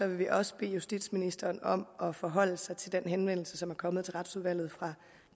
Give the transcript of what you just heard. vi også bede justitsministeren om at forholde sig til den henvendelse som er kommet til retsudvalget fra